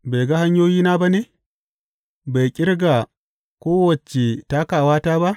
Bai ga hanyoyina ba ne bai ƙirga kowace takawata ba?